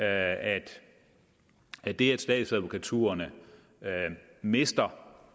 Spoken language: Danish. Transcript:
at det at statsadvokaturerne mister